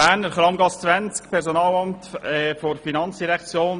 Berner Personalamt, Kramgasse 20: